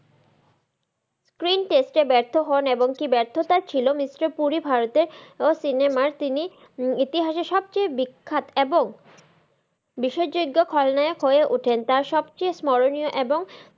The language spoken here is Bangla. screen test এ ব্যার্থ হন এবং এই ব্যার্থতা ছিল mister পুরি ভারতের cinema র তিনি ইতিহাসের সব চেয়ে বিখ্যাত এবং বিশেষযোগ্য খলনায়ক হয়ে ওঠেন তার সব থেকে স্মরনিয় এবং,